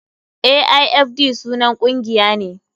Aifd sunan ƙungiya ne.